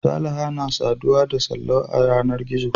Salaha na saduwa da Sallau a yanar gizo.